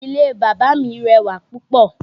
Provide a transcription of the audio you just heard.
Ilé bàbá mi rẹwà púpọ̀